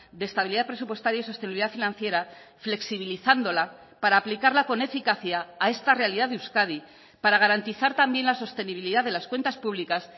de estabilidad presupuestaria y sostenibilidad financiera flexibilizándola para aplicarla con eficacia a esta realidad de euskadi para garantizar también la sostenibilidad de las cuentas públicas